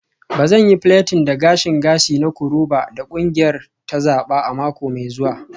Ba zan yi plaiting da gashin gashi na koroba da kungiyar ta zaba a mako mai zuwa.